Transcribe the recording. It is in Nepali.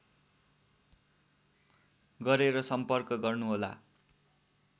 गरेर सम्पर्क गर्नु होला